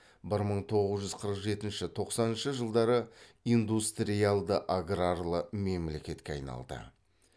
бір мың тоғыз жүз қырық жетінші тоқсаныншы жылдары индустриялды аграрлы мемлекетке айналды